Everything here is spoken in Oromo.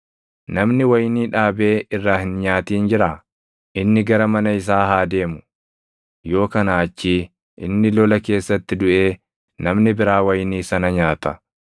Namni wayinii dhaabee irraa hin nyaatin jiraa? Inni gara mana isaa haa deemu; yoo kanaa achii inni lola keessatti duʼee namni biraa wayinii sana nyaata.